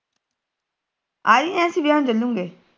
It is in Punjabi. ਆਜੀ ਅਰਸ਼ ਵਿਆਹ ਨੂੰ ਚਲੁ ਗੇ